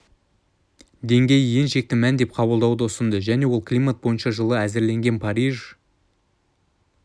деңгейі ең шекті мән деп қабылдауды ұсынды және ол климат бойынша жылы әзірленген париж